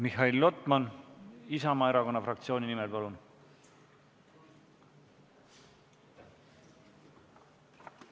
Mihhail Lotman Isamaa erakonna fraktsiooni nimel, palun!